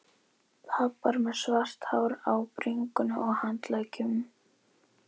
Pabbar með svart hár á bringunni og handleggjunum.